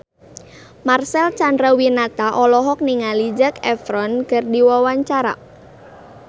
Marcel Chandrawinata olohok ningali Zac Efron keur diwawancara